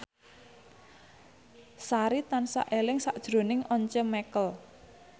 Sari tansah eling sakjroning Once Mekel